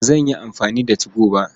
Ba zan yi amfani da 2go ba.